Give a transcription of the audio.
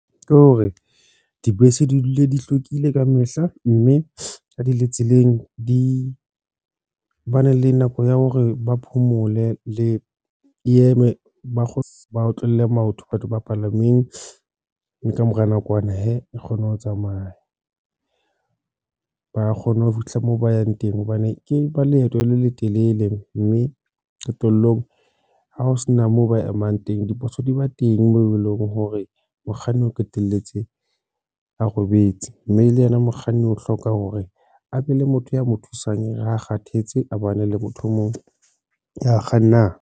Ke hore dibese di dule di hlwekile ka mehla, mme ha di le tseleng di ba ne le nako ya hore ba phomole le eme ba kgone ba otlolle maoto batho ba palameng mme ka mora nakwana hee e kgone ho tsamaya ba kgone ho fihla moo ba yang teng hobane ke ba leeto le letelele, mme qetellong ha ho sena moo ba emang teng dipotso di ba teng, moo eleng hore mokganni a qetelletse a robetse, mme le yena mokganni o hloka hore a be le motho ya mo thusang ha kgathetse a le motho o mong ya kganang.